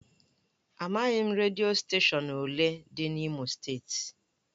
Amaghị m redio steshọn ole dị n'Imo steeti.